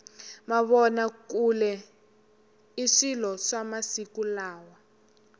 mavona kule i swilo swa masiku lawa